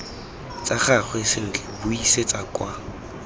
tsa gagwe sentle buisetsa kwa